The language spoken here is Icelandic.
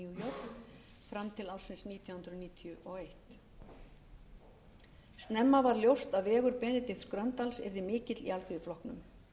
york fram til ársins nítján hundruð níutíu og eins snemma varð ljóst að vegur benedikts gröndals yrði mikill í alþýðuflokknum